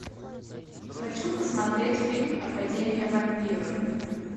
хочу посмотреть фильм академия вампиров